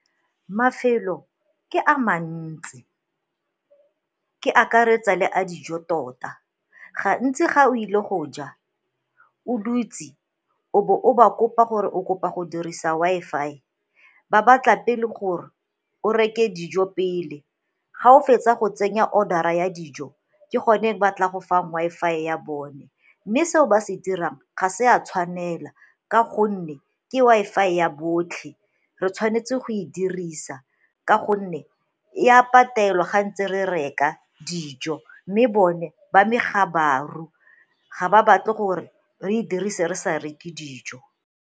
Mafelo ke a mantsi, ke akaretsa le a dijo tota gantsi ga o ile go ja o dutse o bo o ba kopa gore o kopa go dirisa Wi-Fi, ba batla pele gore o reke dijo pele ga o fetsa go tsenya order-ra ya dijo ke gone ba tla go fa Wi-Fi ya bone. Mme seo ba se dirang ga se a tshwanela ka gonne ke Wi-Fi ya botlhe, re tshwanetse go e dirisa ka gonne e a patelwa ga ntse re reka dijo mme bone ba megabaru ga ba batle gore re e dirise re sa reke dijo.